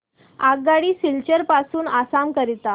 आगगाडी सिलचर पासून आसाम करीता